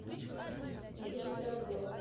надежда пирогова